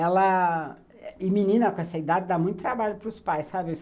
Ela... menina com essa idade dá muito trabalho para os pais, sabe?